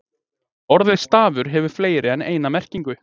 Orðið stafur hefur fleiri en eina merkingu.